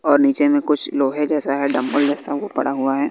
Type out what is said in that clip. और नीचे में कुछ लोहे जैसा है डम्बल जैसा वो पड़ा हुआ है।